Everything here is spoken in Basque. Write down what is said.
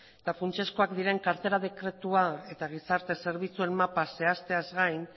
eta funtsezkoak diren kartela dekretua eta gizarte zerbitzuen mapa zehazteaz gain